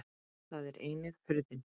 Þar er einnig hurðin.